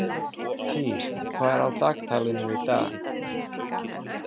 Týr, hvað er á dagatalinu í dag?